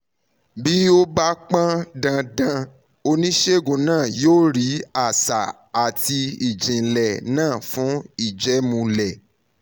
bí ó bá pọn dandan oníṣègùn náà yóò rí àṣà àti ìjìnlẹ̀ náà fún ìjẹ́múlẹ̀